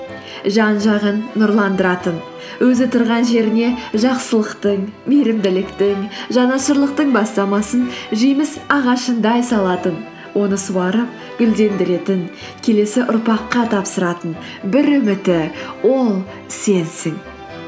жан жағын нұрландыратын өзі тұрған жеріне жақсылықтың мейірімділіктің жанашырлықтың бастамасын жеміс ағашындай салатын оны суарып гүлдендіретін келесі ұрпаққа тапсыратын бір үміті ол сенсің